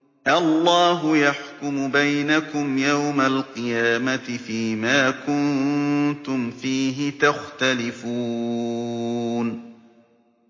اللَّهُ يَحْكُمُ بَيْنَكُمْ يَوْمَ الْقِيَامَةِ فِيمَا كُنتُمْ فِيهِ تَخْتَلِفُونَ